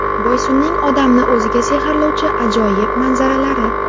Boysunning odamni o‘ziga sehrlovchi ajoyib manzaralari.